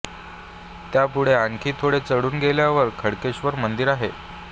त्यापुढे आणखी थोडे चढून गेल्यावर खडकेश्वर मंदिर आहे